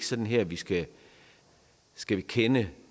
sådan her vi skal skal kende